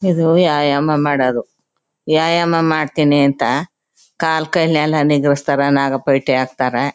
ಇದು ಯಾಯಮ ಮಾಡೋದು ವ್ಯಾಯಾಮ ಮಾಡ್ತೀನಿ ಅಂತ ಕಾಲು ಕೈ ಎಲ್ಲ ನಿಗರಸ್ಥರ ನಾಗಾ ಪಲ್ಟಿ ಹಾಕ್ತಾರ.